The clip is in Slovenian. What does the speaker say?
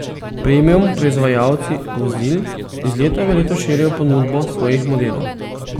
Premium proizvajalci vozil iz leta v leto širijo ponudbo svojih modelov.